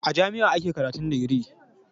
A jami'a ake karatun digiri